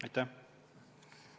Aitäh!